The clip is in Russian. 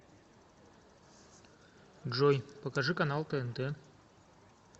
джой покажи канал тнт